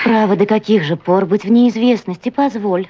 право до каких же пор быть в неизвестности позволь